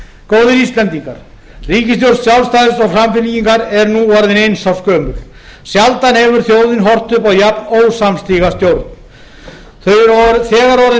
góðir íslendingar ríkisstjórn sjálfstæðisflokks og samfylkingar er nú orðin eins árs gömul sjaldan hefur þjóðin horft upp á jafn ósamstíga stjórn þau eru þegar orðin